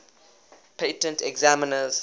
patent examiners